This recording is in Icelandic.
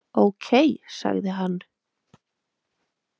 Ókei, sagði hann.